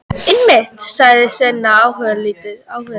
Einmitt, sagði Sveinn áhugalítill.